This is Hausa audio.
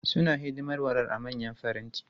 Suna hidimar warar a manyan faranti.